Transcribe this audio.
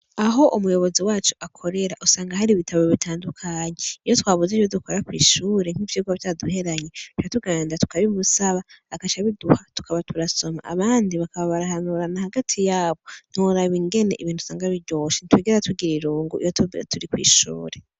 Aho umuyobozi wacu akorera, usanga hari ibitabo bitandukanye; iyo twabuze ivyo dukora kw'ishure, nk'ivyigwa vyaduheranye, duca tugenda tukabimusaba, agaca abiduha tukaba turasoma; abandi bakaba barahanurana hagati yabo; ntiworaba ingene ibintu usanga biryoshe, ntitwegera tugira irungu iyo twebwe turi kw'ishuri.